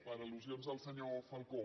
per al·lusions del senyor falcó